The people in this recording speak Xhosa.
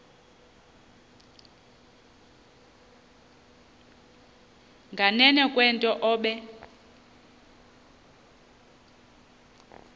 nganeno kwento obe